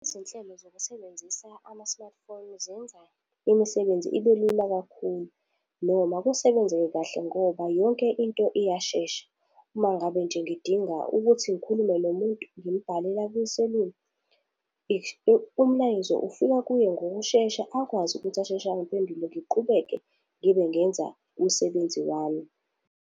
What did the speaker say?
Izinhlelo zokusebenzisa ama-smartphone zenza imisebenzi ibe lula kakhulu, noma kusebenzeke kahle ngoba yonke into iyashesha. Uma ngabe nje ngidinga ukuthi ngikhulume nomuntu, ngimbhalela kwiselula umlayezo ufika kuye ngokushesha, akwazi ukuthi asheshe angiphendule ngiqhubeke ngibe ngenza umsebenzi wami.